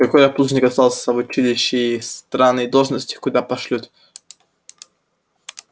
и коля плужников остался в училище на странной должности куда пошлют